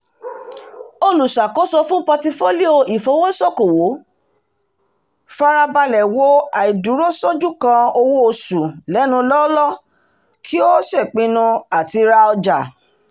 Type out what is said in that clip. olùṣàkóso fún pọtifólíò ìfowósókòwò farabalẹ̀ wo àìdúró ṣójú kan owó ọjà lẹ́nu lọ́ọ́lọ́ kí ó ṣèpinnu àti ra ọjà